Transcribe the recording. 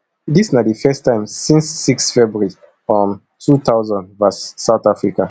dis na di first time since six february um two thousand vs south africa